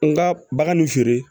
N ka bagan ni feere